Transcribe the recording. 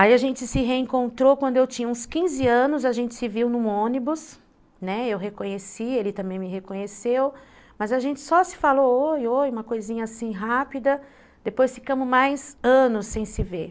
Aí a gente se reencontrou quando eu tinha uns quinze anos, a gente se viu num ônibus, né, eu reconheci, ele também me reconheceu, mas a gente só se falou oi, oi, uma coisinha assim rápida, depois ficamos mais anos sem se ver.